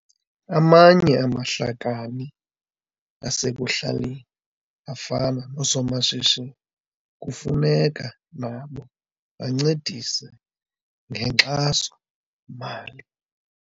Amanye amahlakani asekuhlaleni afana noosomashishini kufuneka nabo bancedise ngenkxaso-mali.